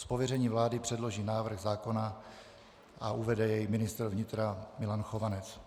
Z pověření vlády předloží návrh zákona a uvede jej ministr vnitra Milan Chovanec.